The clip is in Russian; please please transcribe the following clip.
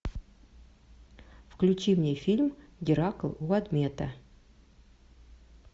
включи мне фильм геракл у адмета